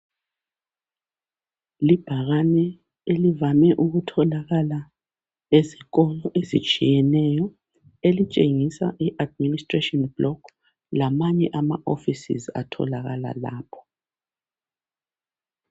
Libhakane elivame ukutholakala ezikolo ezitshiyeneyo elitshengisa i"Administration block" lamanye ama "offices " atholakala lapho.